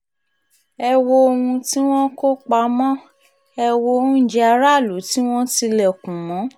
ẹ wo ohun tí wọ́n kó pamọ ẹ̀ wọ oúnjẹ aráàlú tí wọ́n tilẹ̀kùn mọ́